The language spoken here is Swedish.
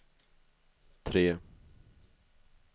tre